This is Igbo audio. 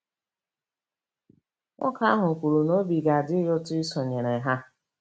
Nwoke ahụ kwuru na obi ga-adị ya ụtọ isonyere ha.